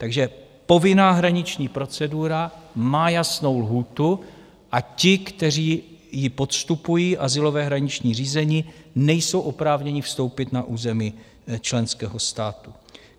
Takže povinná hraniční procedura má jasnou lhůtu a ti, kteří ji podstupují, azylové hraniční řízení, nejsou oprávněni vstoupit na území členského státu.